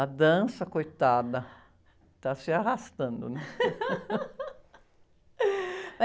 A dança, coitada, está se arrastando, né?